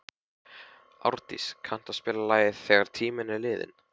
Árdís, kanntu að spila lagið „Þegar tíminn er liðinn“?